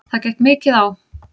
Það gekk mikið á.